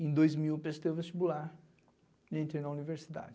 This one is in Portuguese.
Em dois mil, prestei o vestibular e entrei na universidade.